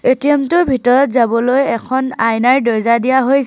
ATM টোৰ ভিতৰত যাবলৈ এখন আইনাৰ দৰ্জা দিয়া হৈছ--